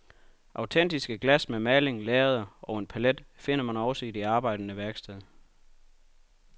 Autentiske glas med maling, lærreder og en palet finder man også i det arbejdende værksted.